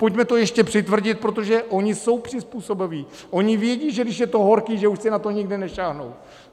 Pojďme to ještě přitvrdit, protože oni jsou přizpůsobiví, oni vědí, že když je to horký, že už si na to nikdy nesáhnou.